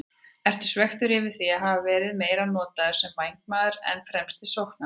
Ertu svekktur yfir því að hafa verið meira notaður sem vængmaður en fremsti sóknarmaður?